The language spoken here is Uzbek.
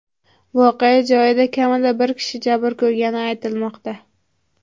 Voqea joyida kamida bir kishi jabr ko‘rgani aytilmoqda.